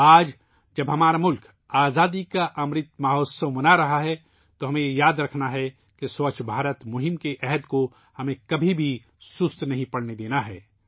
آج ، جب ہمارا ملک آزادی کا امرت مہوتسو منا رہا ہے ، ہمیں یاد رکھنا ہوگا کہ ہمیں سووچھ بھارت ابھیان کی قرارداد کو کبھی سست نہیں پڑنے دینا ہے